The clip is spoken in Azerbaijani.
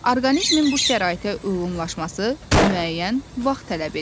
Orqanizmin bu şəraitə uyğunlaşması müəyyən vaxt tələb edir.